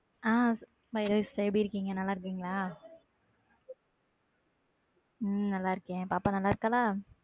ஹம் எப்பிடி இருக்கிங்க? நல்லா இருகிங்களா? உம் நல்ல இருக்கேன் பாப்பா நல்லா இருக்கலா?